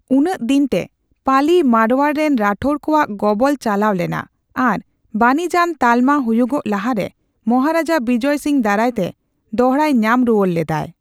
ᱩᱱᱟᱹᱜᱫᱤᱱᱛᱮ, ᱯᱟᱞᱤ ᱢᱟᱨᱣᱟᱨ ᱨᱮᱱ ᱨᱟᱴᱷᱳᱨ ᱠᱚᱣᱟᱜ ᱜᱚᱵᱚᱞ ᱪᱟᱞᱟᱣ ᱞᱮᱱᱟ ᱟᱨ ᱵᱟᱹᱱᱤᱡᱽᱟᱱ ᱛᱟᱞᱢᱟ ᱦᱩᱤᱭᱩᱜ ᱞᱟᱦᱟᱨᱮ ᱢᱚᱦᱟᱨᱟᱡᱟ ᱵᱤᱡᱚᱭ ᱥᱤᱝ ᱫᱟᱨᱟᱭᱛᱮ ᱫᱚᱲᱦᱟᱭ ᱧᱟᱢ ᱨᱩᱣᱟᱹᱲ ᱞᱮᱫᱟᱭ ᱾